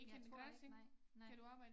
Jeg tror ikke nej nej